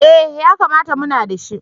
Eh yakamata muna da shi.